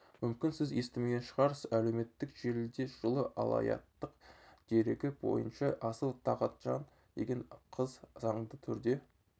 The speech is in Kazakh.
мүмкін сіз естімеген шығарсыз әлеуметтік желіде жылы алаяқтық дерегі бойынша асыл талғатжан деген қыз заңды түрде